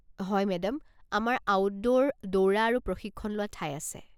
হয় মেডাম, আমাৰ আউটডোৰ দৌৰা আৰু প্ৰশিক্ষণ লোৱা ঠাই আছে।